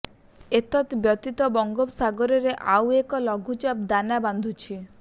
ଏତତ୍ ବ୍ୟତୀତ ବଙ୍ଗୋପସାଗରରେ ଆଉ ଏକ ଲଘୁଚାପ ଦାନା ବାନ୍ଧୁଛି